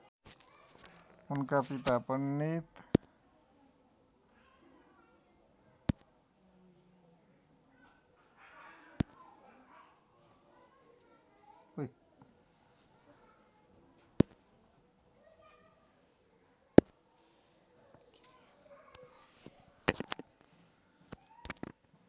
उनका पिता पण्डित